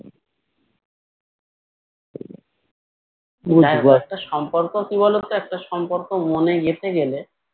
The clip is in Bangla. একটা সম্পর্ক কি বলতো একটা সম্পর্ক মনে গেঁথে গেলে